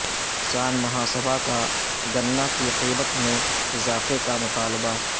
کسان مہا سبھا کا گناکی قیمت میں اضافہ کا مطالبہ